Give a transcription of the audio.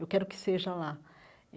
Eu quero que seja lá.